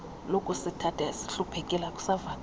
lokusithatha sihluphekile akusavakali